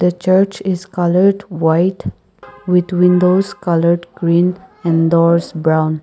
church is coloured white with windows coloured green and doors brown.